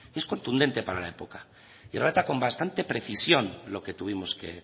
es contundente para la época y trata con bastante precisión lo que tuvimos que